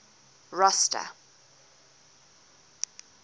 rosta